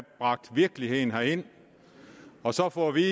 bragt virkeligheden herind og så får vi